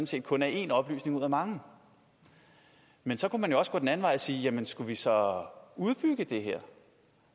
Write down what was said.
set kun er en oplysning ud af mange men så kunne man jo også gå den anden vej og sige skulle vi så udbygge det her